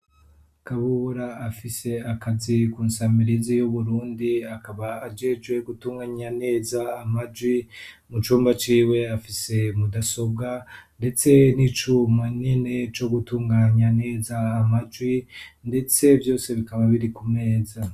Kabubora afise akazi ku nsamirizi yuburundi akaba ajejwe gutunganya neza amajwi mu cumba ciwe afise mudasobwa, ndetse n'icuma nene co gutunganya neza amajwi, ndetse vyose bikaba biri ku meza.